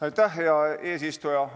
Aitäh, hea eesistuja!